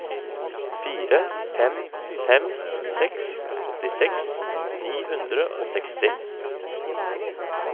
fire fem fem seks åttiseks ni hundre og seksti